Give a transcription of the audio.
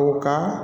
U ka